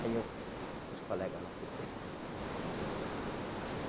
Aí, eu, com os colegas lá, falei, poxa, São Paulo, o pessoal fala.